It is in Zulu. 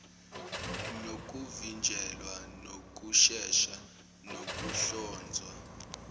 nokuvinjelwa nokushesha kokuhlonzwa